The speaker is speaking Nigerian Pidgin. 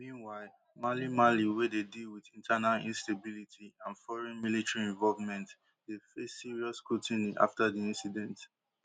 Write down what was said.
meanwhile mali mali wey dey deal wit internal instability and foreign military involvement dey face serious scrutiny after di incident